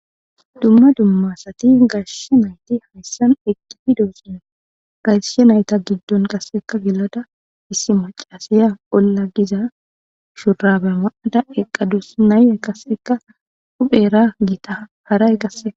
dumma dumma asati gashe nayti hayssan eqqidi doosona gashe nayta giddon qasseka gilada issi macasiya bolla giza shurabe ma7ada eqqadus nayye qasseka huphera giita haray eqasse.